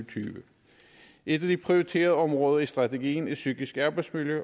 tyve et af de prioriterede områder i strategien er psykisk arbejdsmiljø